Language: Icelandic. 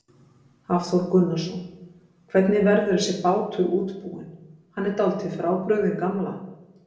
Hafþór Gunnarsson: Hvernig verður þessi bátur útbúinn, hann er dálítið frábrugðinn gamla?